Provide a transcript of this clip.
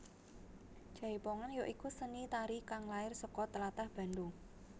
Jaipongan ya iku seni tari kang lair saka tlatah Bandung